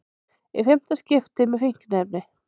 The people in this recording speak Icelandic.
Í fimmta skipti með fíkniefni